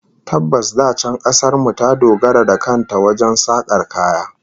Tabbas, da can kasar mu ta dogara da kan ta wajen sakar kaya